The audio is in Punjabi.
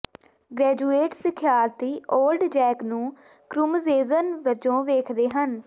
ਗ੍ਰੈਜੂਏਟ ਸਿਖਿਆਰਥੀ ਓਲਡ ਜੈਕ ਨੂੰ ਕਰੂਮਜੇਜਨ ਵਜੋਂ ਵੇਖਦੇ ਹਨ